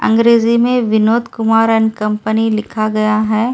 अंग्रेजी में Vinod Kumar and company लिखा गया है।